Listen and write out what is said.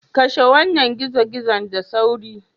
Kashe wannan gizo-gizo da sauri.